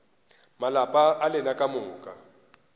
malapa a lena ka moka